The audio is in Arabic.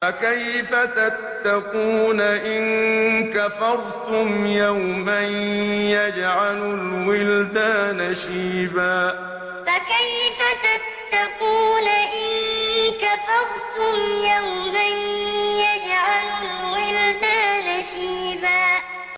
فَكَيْفَ تَتَّقُونَ إِن كَفَرْتُمْ يَوْمًا يَجْعَلُ الْوِلْدَانَ شِيبًا فَكَيْفَ تَتَّقُونَ إِن كَفَرْتُمْ يَوْمًا يَجْعَلُ الْوِلْدَانَ شِيبًا